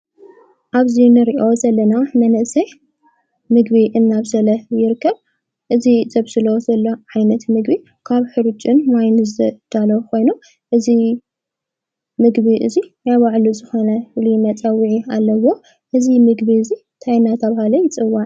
ኣብዚ እንርእዮ ዘለና መንእሰይ ምግቢ እናብሰለ ይርከብ። እዚ ዘብስሎ ዘሎ ዓይነት ምግቢ ካብ ሕርጭን ማይን ዝዳለ ኾይኖ እዙ ምግቢ እዙይ ናያባዕሉ ዝኮነሉ መጸዊዒ ኣለዎ። እዝ ምግቢ እዙይ ታይ እናታበሃለ ይጽዋዕ?